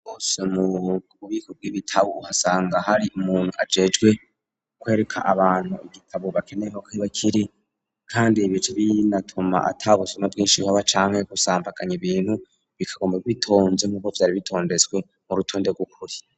hose mu bubiko bw'ibitabu uhasanga hari umuntu ajejwe kwereka abantu igitabo bakeneye aho kiba kiri kandi ibi bica binatuma ata busuma bwishi buhaba canke gusambaganya ibintu bikaguma bitonze nkuko vyari bitondetswe mu rutonde rw'ukuri.